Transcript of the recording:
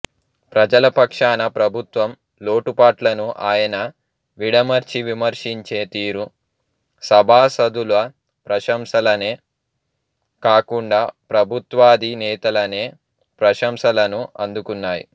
ప్రజల పక్షాన ప్రభుత్వం లోటుపాట్లను ఆయన విడమర్చి విమర్శించే తీరు సభాసదుల ప్రశంలనే కాకుండా ప్రభుత్వాధినేతలనే ప్రశంసలను అందుకున్నాయి